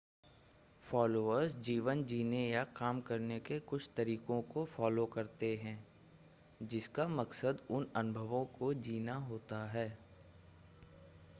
followers जीवन जीने या काम करने के कुछ तरीकों को फ़ॉलो करते हैं जिसका मकसद उन अनुभवों को जीना होता है